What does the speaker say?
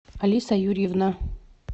алиса юрьевна